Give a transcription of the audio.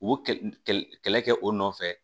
U kɛ kɛlɛ kɛ o nɔfɛ